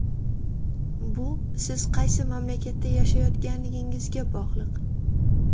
Bu siz qaysi mamlakatda yashayotganligingizga bog‘liq.